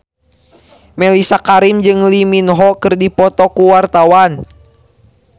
Mellisa Karim jeung Lee Min Ho keur dipoto ku wartawan